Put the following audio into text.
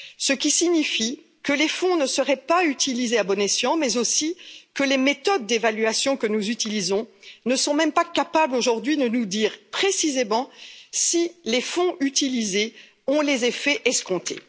Cela signifie que les fonds ne seraient pas utilisés à bon escient, mais aussi que les méthodes d'évaluation que nous utilisons ne sont même pas capables, aujourd'hui, de nous dire précisément si les fonds utilisés ont les effets escomptés.